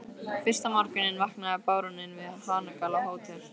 Fyrsta morguninn vaknaði baróninn við hanagal á Hótel